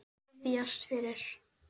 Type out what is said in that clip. Biðjast fyrir?